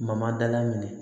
Mama dala minɛ